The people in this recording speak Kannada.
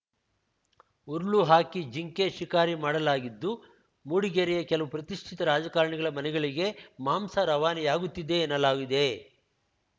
ಉರುಳು ಹಾಕಿ ಜಿಂಕೆ ಶಿಕಾರಿ ಮಾಡಲಾಗಿದ್ದು ಮೂಡಿಗೆರೆಯ ಕೆಲವು ಪ್ರತಿಷ್ಠಿತ ರಾಜಕಾರಣಿಗಳ ಮನೆಗಳಿಗೆ ಮಾಂಸ ರವಾನೆಯಾಗುತ್ತಿದೆ ಎನ್ನಲಾಗಿದೆ